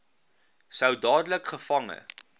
sou dadelik gevange